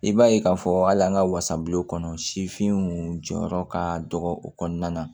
I b'a ye k'a fɔ hali an ka wasabulon kɔnɔ sifinw jɔyɔrɔ ka dɔgɔ o kɔnɔna na